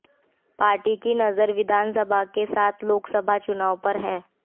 party की नजर विधानसभा के साथ लोकसभा चुनाव पर है